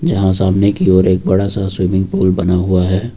यहां सामने की ओर एक बड़ा सा स्विमिंग पूल बना हुआ है।